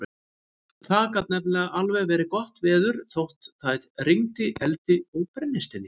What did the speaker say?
Það gat nefnilega alveg verið gott veður þótt það rigndi eldi og brennisteini.